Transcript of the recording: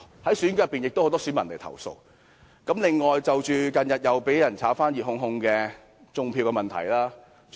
在選舉期間，有很多選民找我投訴，還有就着近日再次被人炒得熱烘烘的"種票"問題投訴。